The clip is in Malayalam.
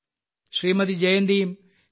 ശ്രീമതി ജയന്തിയും ശ്രീമാൻ